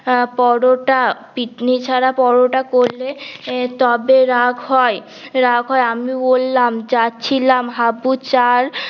আহ পরোটা পিকনি ছাড়া পরোটা করলে তবে রাগ হয় রাগ হয় আমি বললাম যাচ্ছিলাম হাবু চাল